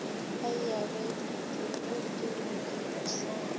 a e abetwego ke mophethii